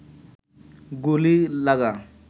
গুলি লাগা